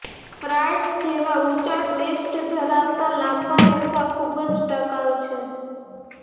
ફ્રાઈડ્સ જેવા ઊંચા ટ્વિસ્ટ ધરાવતા લાંબા રેસા ખૂબ જ ટકાઉ છે